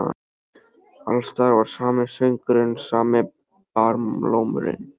Alls staðar var sami söngurinn, sami barlómurinn.